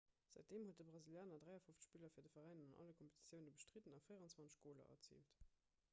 säitdeem huet de brasilianer 53 spiller fir de veräin an alle kompetitioune bestridden a 24 goler erziilt